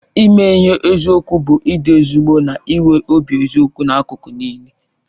Ime ihe n'eziokwu bụ ịdị ezigbo na nwee obi eziokwu n'akụkụ niile.